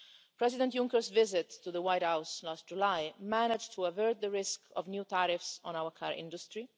President Juncker's visit to the White House last July managed to avert the risk of new tariffs on our car industry.